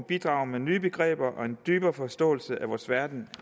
bidrager med nye begreber og en dybere forståelse af vores verden